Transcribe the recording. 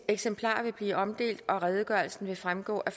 eksemplarer vil blive omdelt og redegørelsen vil fremgå af